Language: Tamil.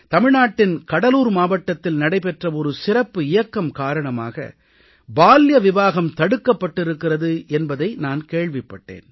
தமிழ்நாட்டின் கடலூர் மாவட்டத்தில் நடைபெற்ற ஒரு சிறப்பு இயக்கம் காரணமாக பால்ய விவாஹம் தடுக்கப் பட்டிருக்கிறது என்பதை நான் கேள்விப்பட்டேன்